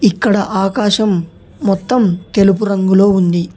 ఇక్కడ ఆకాశం మొత్తం తెలుపు రంగులో ఉంది.